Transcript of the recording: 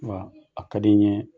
Wa a kadi ɲɛɛ